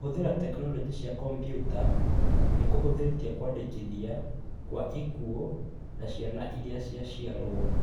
Kũhũthĩra tekinoronjĩ cia kompiuta nĩ kũhũthĩtie kũandĩkithia kwa ikuũ na ciana irĩa ciaciarwo.